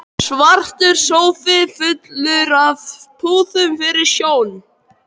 Svartur sófi fullur af púðum fyllir sjón